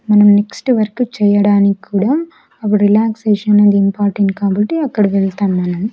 మనం next work చేయ్యడానిక్కూడా అబుడ్ రిలాక్సేషన్ అనేది ఇంపార్టెంట్ కాబట్టి అక్కడ వెళ్తాననాను.